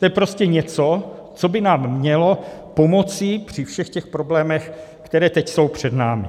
To je prostě něco, co by nám mělo pomoci při všech těch problémech, které teď jsou před námi.